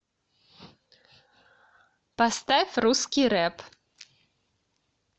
поставь русский рэп